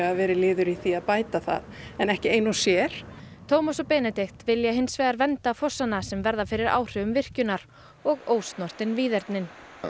verið liður í því að bæta það en ekki ein og sér Tómas og Benedikt vilja hins vegar vernda fossana sem verða fyrir áhrifum virkjunar og ósnortin víðernin